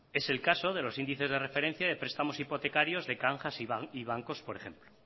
es el caso de los índices de referencia de prestamos hipotecarios de cajas y bancos por ejemplo